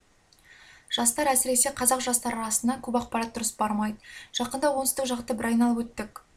жастар әсіресе қазақ жастары арасына көп ақпарат дұрыс бармайды жақында оңтүстік жақты бір айналып өттік